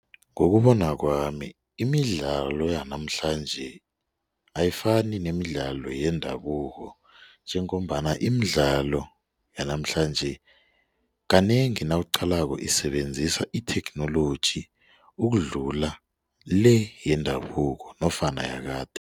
Ngokubona kwami imidlalo yanamhlanje ayifani nemidlalo yendabuko njengombana imidlalo yanamhlanje kanengi nawuqalako isebenzisa itheknoloji ukudlula le yendabuko nofana